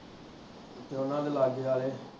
ਜਾਣਾ ਤੇ ਲਾਗੇ ਆਲੇ